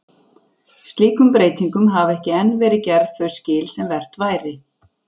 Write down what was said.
Slíkum breytingum hafa ekki enn verið gerð þau skil sem vert væri.